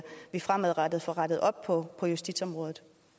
vi fremadrettet får rettet op på justitsområdet